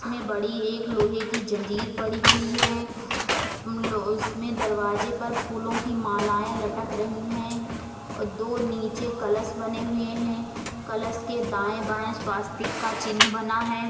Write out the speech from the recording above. इसमे बडी एक लोहे जंजीर पडी हुई है। उसमे दरवाजे पर फूलों की मालाऐ लटक रही है। दो नीचे कलश बनी हुऐ है कलश के दाऐ बाये स्वास्तिक का चिन्ह बना है।